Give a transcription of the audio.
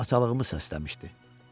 Bu atalığımı səsləmişdi.